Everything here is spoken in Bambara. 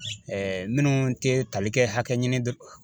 Ɛɛ minnu te tali kɛ hakɛ ɲini